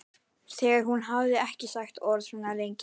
Þegar hún hafði ekki sagt orð svona lengi.